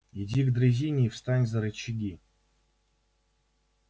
иди к дрезине и встань за рычаги